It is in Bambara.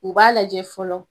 U b'a lajɛ fɔlɔ